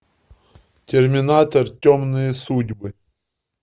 терминатор темные судьбы